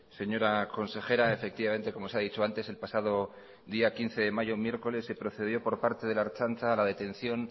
señora consejera efectivamente como se ha dicho antes el pasado día quince de mayo miércoles se procedió por parte de la ertzaintza a la detención